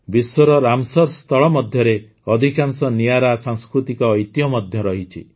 ବିଶ୍ୱର ରାମସର ସ୍ଥଳ ମଧ୍ୟରେ ଅଧିକାଂଶ ନିଆରା ସାଂସ୍କୃତିକ ଐତିହ୍ୟ ମଧ୍ୟ ଅଛି